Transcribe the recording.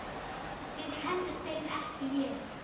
Þið kennduð þeim, ekki ég.